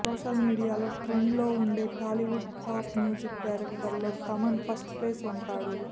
social మీడియాలో trend లో ఉండే టాలీవుడ్ టాప్ మ్యూజిక్ డైరెక్టర్లలో తమన్ ఫస్ట్ ప్లేస్ ఉంటాడు